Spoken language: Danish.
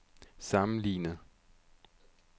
sammenlignet